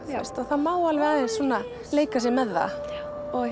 og það má alveg svona leika sér með það og